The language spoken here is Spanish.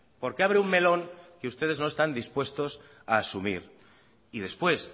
porque abre un melón que ustedes no están dispuestos a asumir y después